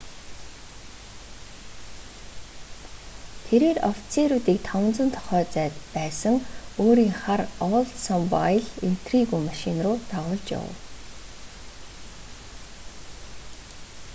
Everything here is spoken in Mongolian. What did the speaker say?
тэрээр офицеруудыг 500 тохойн зайд байсан өөрийн хар оулдсмобайл интригү машин руу дагуулж явав